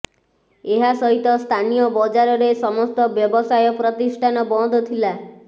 ଏହା ସହିତ ସ୍ଥାନୀୟ ବଜାରର ସମସ୍ତ ବ୍ୟବସାୟ ପ୍ରତିଷ୍ଠାନ ବନ୍ଦଥିଲା